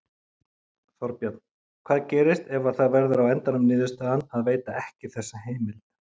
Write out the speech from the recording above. Þorbjörn: Hvað gerist ef að það verður á endanum niðurstaðan að veita ekki þessa heimild?